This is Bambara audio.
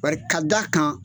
Barika d'a kan